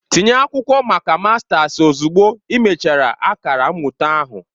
Tinye akwụkwọ maka mastasi ozugbo ị mechara akara mmụta ahụ!